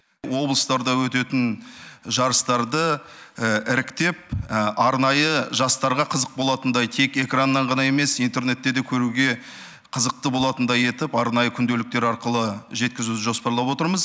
облыстарда өтетін жарыстарды іріктеп арнайы жастарға қызық болатындай тек экраннан ғана емес интернетте де көруге қызықты болатындай етіп арнайы күнделіктер арқылы жеткізу жоспарлап отырмыз